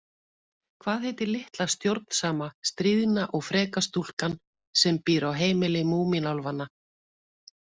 Hvað heitir litla stjórnsama, stríðna og freka stúlkan sem býr á heimili Múmínálfanna?